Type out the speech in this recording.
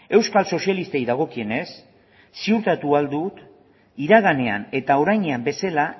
euskal sozialistei dagokienez ziurtatu ahal du iraganean eta orainean bezala